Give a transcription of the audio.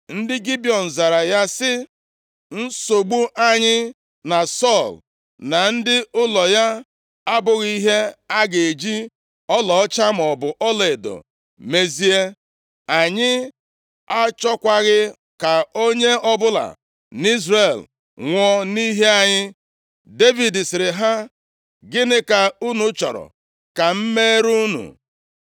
Ndị Gibiọn zara ya sị, “Nsogbu anyị na Sọl na ndị ụlọ ya abụghị ihe a ga-eji ọlaọcha maọbụ ọlaedo mezie. Anyị achọkwaghị ka onye ọbụla nʼIzrel nwụọ nʼihi anyị.” Devid sịrị ha, “Gịnị ka unu chọrọ ka m meere unu?”